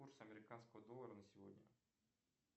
курс американского доллара на сегодня